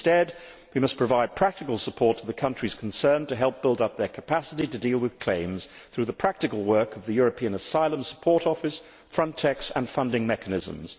Instead, we must provide practical support to the countries concerned to help build up their capacity to deal with claims through the practical work of the European Asylum Support Office, Frontex and funding mechanisms.